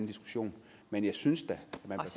diskussion men jeg synes da